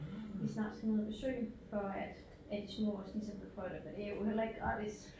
Vi snart skal ned og besøge for at at de små også ligesom kan prøve det for det er jo heller ikke gratis